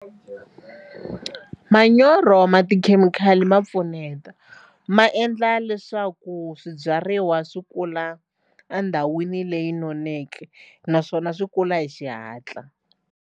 Manyoro ma tikhemikhali ma pfuneta ma endla leswaku swibyariwa swi kula endhawini leyi noneke naswona swi kula hi xihatla.